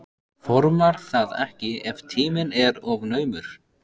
Formar það ekki ef tíminn er of naumur.